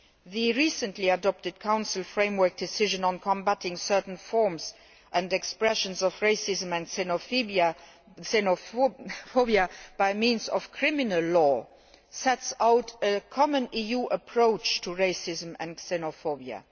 The recently adopted Council framework decision on combating certain forms and expressions of racism and xenophobia by means of criminal law sets out a common EU approach to racism and xenophobia.